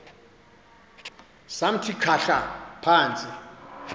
samthi khahla phantsi